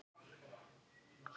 Elsku Gummi minn.